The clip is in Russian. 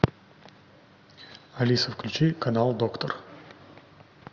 алиса включи канал доктор